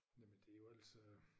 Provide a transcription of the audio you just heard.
Jamen det jo altså